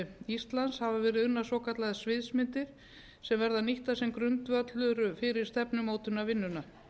íslands hafa verið unnar svokallaðar sviðsmyndir sem verða nýttar sem grundvöllur fyrir stefnumótunarvinnuna